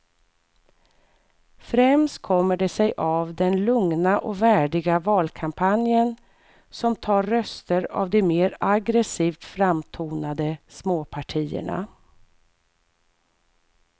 Främst kommer det sig av den lugna och värdiga valkampanjen som tar röster av de mer aggresivt framtonade småpartierna.